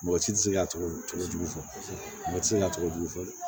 Mɔgɔ si tɛ se ka tɔgɔ jugu fɔ mɔgɔ ti se ka tɔgɔ jugu fɔ dɛ